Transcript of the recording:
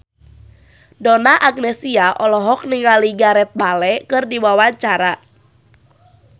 Donna Agnesia olohok ningali Gareth Bale keur diwawancara